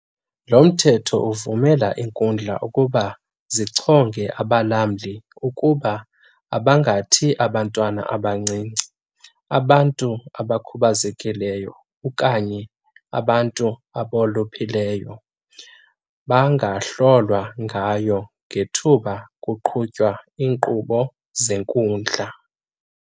Lo Mthetho uvumela iinkundla ukuba zichonge abalamli ukuba abangathi abantwana abancinci, abantu abakhubazekileyo okanye abantu abolupheleyo bangahlolwa ngayo ngethuba kuqhutywa iinkqubo zenkundla.